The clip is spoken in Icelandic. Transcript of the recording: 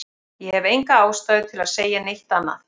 Ég hef enga ástæðu til að segja neitt annað.